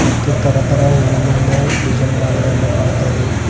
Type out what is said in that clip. ಮತ್ತು ತರತರ ಹೂವಿನಿಂದ ಡಿಸೈನ್ ಮಾಡಿದನ್ನು ಕಾಣ್ತಾ ಇದೆ.